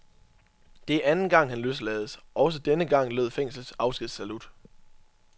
Det er anden gang han løslades, også denne gang lød fængslets afskedssalut.